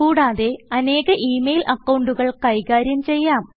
കുടാതെ ഇത് അനേക email അക്കൌണ്ടുകൾ കൈകാര്യം ചെയ്യാം